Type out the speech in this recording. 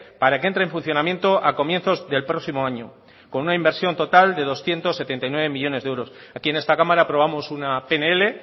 para que entre en funcionamiento a comienzos del próximo año con una inversión total de doscientos setenta y nueve millónes de euros aquí en esta cámara aprobamos una pnl